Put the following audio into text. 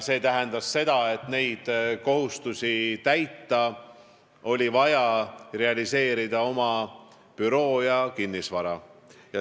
Selleks et neid kohustusi täita, oli vaja realiseerida oma büroo ja kinnisvara.